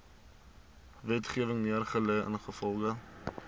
wetgewing neergelê ingevolge